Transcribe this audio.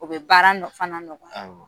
O bɛ baara fana ɲɔgɔn ya; Awɔ.